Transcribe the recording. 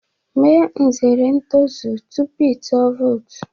Mee nzere ntozu tupu ịtụ vootu